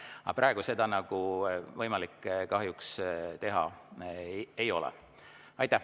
Aga praegu seda kahjuks võimalik teha ei ole.